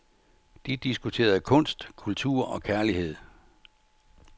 De diskuterede kunst, kultur og kærlighed.